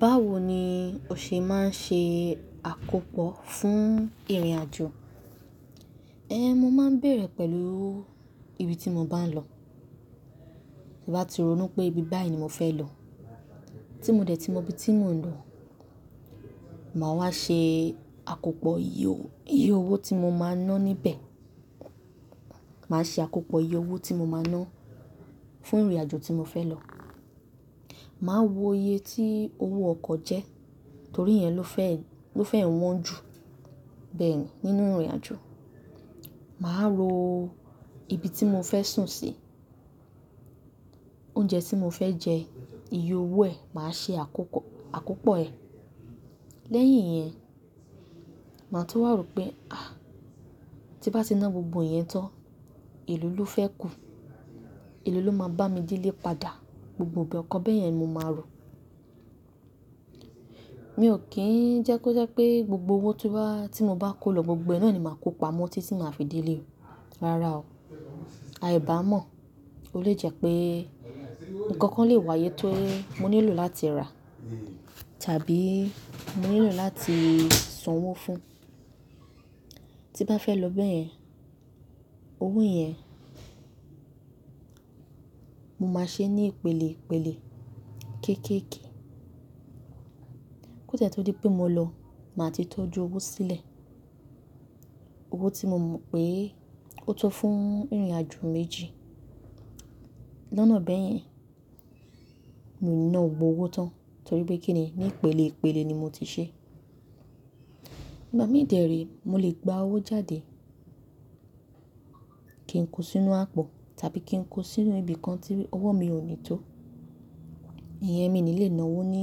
Báwo ni o ṣe máa ń ṣe àkópọ̀ fún ìrìnàjò? Ẹ̀, mo máa ń bèrè pẹ̀lú ibi tí mo bá ń lọ. Tí mo bá ti rònú pé ibi báyìí ni mo fẹ́ lọ. Tí mo dẹ̀ ti mọ ibi tí mò ń lọ, màá wá ṣe àkópọ̀ iye owó tí mo máa ná níbẹ̀. Màá ṣe àkópọ̀ iye owó tí mo máa ná fún ìrìnàjò tí mo fẹ́ lọ. Màá wo iye tí owó ọkọ̀ jẹ́ torí ìyẹn ló fẹ́, ló fẹ́ wọn jù bẹ́ẹ̀ ni nínú ìrìnàjò. Màá ro ibi tí mo fẹ́ sùn sí, oúnjẹ tí mo fẹ́ jẹ, iye owó ẹ̀ màá ṣe àkópọ̀, àkópọ̀ ẹ̀. Lẹ́yìn yẹn, màá tú wàró pé à, tí bá ti ná gbogbo ìyẹn tán, elo ló fẹ́ kù. Elo ló máa bá mi dé ilé padà. Gbogbo ìbẹ̀ kọ́ bẹ́ẹ̀ yẹn mo máa rò. Mi ò kí ń jẹ́ kó jẹ́ pé gbogbo owó tí mo bá kó lọ gbogbo, ẹná ni màá kó pamọ́ títí màá fi dé ilé. Rárá o. Aìbá mọ̀. Ó lè jẹ́ pé nǹkan kan lè wáyé tó mó nílò láti rà tàbí mó nílò láti san owó fún. Tí bá fẹ́ lọ bẹ́ẹ̀ yẹn, owó yẹn mo máa ṣe ní ìpele ìpele kéékèèké. Kó dé tó di pé mo lọ, màá ti tójú owó sílẹ̀. Owó tí mo mọ̀ pé ó tó fún ìrìnàjò méjì. Lọ́nà bẹ́ẹ̀ yẹn, mi ò ní ná owó tán torí pé kí ni, ní ìpele ìpele ni mo ti ṣe. Ìgbà mí ò dẹ̀rí mó lè gba owó jáde kí ń kó sínú àpò tàbí kí ń kó sínú ibi kan tí owó mi ò ní tó. Ìyẹn mi ni lè ná owó ní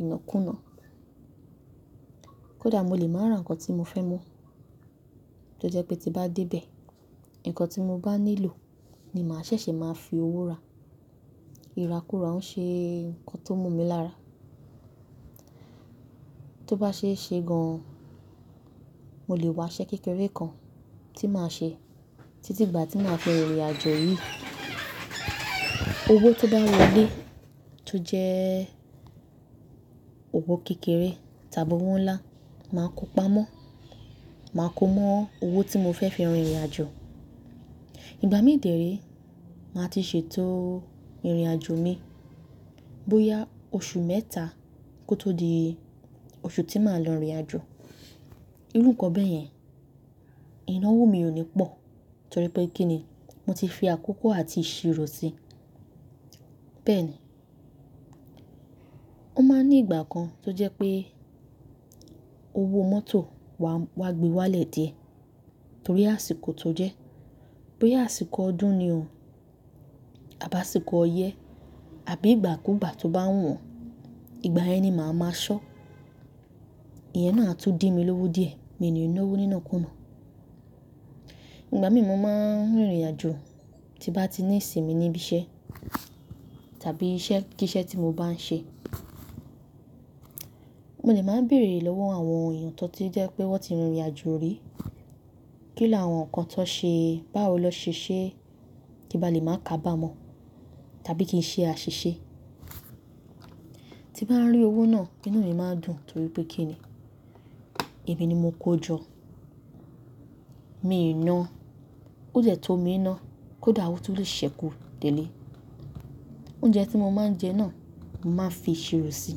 ìnakùná. Kódà mo lè máa ra nǹkan tí mo fẹ́ mo tó jẹ́ pé tí bá dé bẹ̀, nǹkan tí mo bá nílò ni màá ṣẹ̀ṣẹ̀ máa fi owó rà. Ìrákúra ń ṣe nǹkan tó mú mi lára. Tó bá ṣe é ṣe gan-an, mo lè wá iṣẹ́ kékeré kan tí màá ṣe títí gbà tí màá fi rìn ìrìnàjò yìí. Owó tó bá wọlé tó jẹ́ owó kékeré tàbí owó ńlá, màá kó pamọ́. Màá kó mọ́ owó tí mo fẹ́ fi rin ìrìnàjò. Ìgbà mí ò dẹ̀rí, màá ti ṣètò ìrìnàjò mi. Bóyá oṣù mẹ́ta kó tó di oṣù tí màá lọ ìrìnàjò. Irú nǹkan bẹ́ẹ̀ yẹn, iná owó mi ò ní pọ̀ torí pé kí ni, mo ti fi àkókò àti ìṣirò si. Bẹ́ẹ̀ ni. Ó máa ń ní ìgbà kan tó jẹ́ pé owó mọ́tò wa gbe wálẹ̀ dé torí àsìkò tó jẹ́. Bí àsìkò ọdún ni o àbí àsìkò ọyẹ́, àbí ìgbà kú ìgbà tó bá wọ̀n, ìgbà yẹn ni màá máa ṣọ́. Ìyẹn náà tún dí mi lówó díẹ̀, mi ò ní ná owó nínà kú ná. Ìgbà mí mo máa ń rìn ìrìnàjò tí bá ti ní ìsinmi níbí iṣẹ́ tàbí iṣẹ́ kí iṣẹ́ tí mo bá ń ṣe, mo lè máa ń bèrè lọ́wọ́ àwọn èèyàn tó ti jẹ́ pé wọ́n ti rìnrìnàjò rí. Kí làwọn nǹkan tó ṣe é, báwo lọ ṣe é ṣe kí bàá lè máa kábàámọ̀ tàbí kí i ṣe àṣìṣe. Tí n bá rí owó náà, iná mi máa dùn torí pé kí ni, ìbí ni mo kó jọ. Mi i ná. Ó dẹ́ tó mi i ná, kódà owó tó lè ṣẹ́kù tẹ́lẹ̀. Oúnjẹ tí mo máa ń jẹ náà, màá fi ìṣirò si.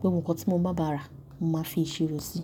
Gbé ohun kan tí mo bá bá ra, màá fi ìṣirò si.